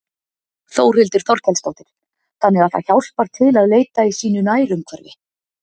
Þórhildur Þorkelsdóttir: Þannig það hjálpar til að leita í sínu nærumhverfi?